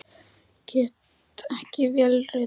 Get ég ekki vélritað fyrir Samtökin?